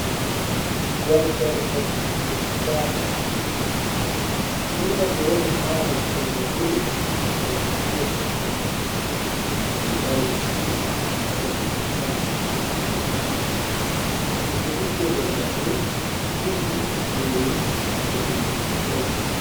Dandal mofturde siyasa, ɓurna ɓe woni ha mofturde nde konkasia'en on, je mari asli iga jiha kano himɓe ɗuɗɗe nder maɓɓe hufni hufnere boɗejum coi.